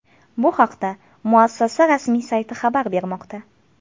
Bu haqda muassasa rasmiy sayti xabar bermoqda .